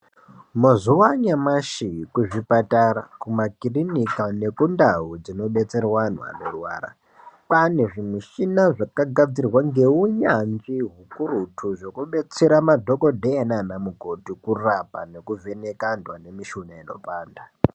Mazuva anyamashi kuzvipatara kumakirinika nekundau dzinodetserwa antu anorwara. Kwane zvimichina zvakagadzirwa ngeunyanzvi hukurutu zvekudetsera madhogodheya nana mukoti kurapa nekuvheneka antu ane mishuna inopanda.